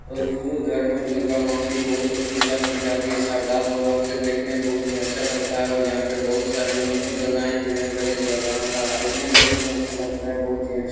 और हिन्दू धर्म मे दुर्गा माँ की बहुत ही पूजा की जाती है शर्द्धा पूर्वक से देखने मे बहुत ही अच्छा लगता है और यहाँ पे बहुत ही सारी मूर्ति बनाई हुए हैं गणेश भगवान का है देखने मे बहुत ही अच्छा लगता है। बहुत ही अच्छी--